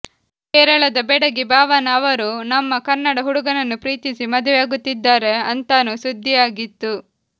ಕೇರಳದ ಬೆಡಗಿ ಭಾವನಾ ಅವರು ನಮ್ಮ ಕನ್ನಡ ಹುಡುಗನನ್ನು ಪ್ರೀತಿಸಿ ಮದುವೆಯಾಗುತ್ತಿದ್ದಾರೆ ಅಂತಾನೂ ಸುದ್ದಿಯಾಗಿತ್ತು